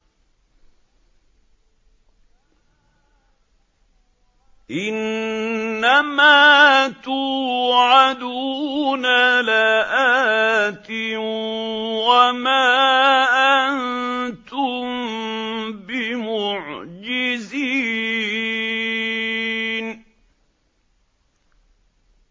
إِنَّ مَا تُوعَدُونَ لَآتٍ ۖ وَمَا أَنتُم بِمُعْجِزِينَ